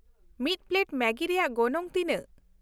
ᱢᱤᱫ ᱯᱞᱮᱴ ᱢᱮᱜᱤ ᱨᱮᱭᱟᱜ ᱜᱚᱱᱚᱝ ᱛᱤᱱᱟᱹᱜ ?